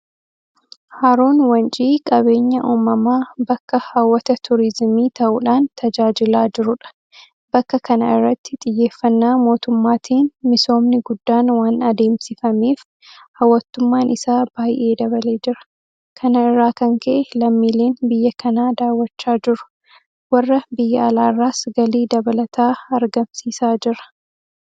Haroon wancii qabeenya uumamaa bakka hawwata Turiizimii ta'uudhaan tajaajilaa jirudha. Bakka kana irratti xiyyeeffannaa mootummaatiin misoomni guddaan waan adeemsifameef hawwattummaan isaa baay'ee dabalee jira. Kana irraa kan ka'e lammiileen biyya kanaa daawwachaa jiru. Warra biyya alaarraas galii dabalataa argamsiisaa jira.